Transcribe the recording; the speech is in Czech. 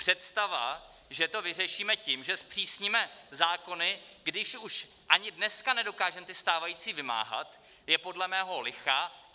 Představa, že to vyřešíme tím, že zpřísníme zákony, když už ani dneska nedokážeme ty stávající vymáhat, je podle mého lichá.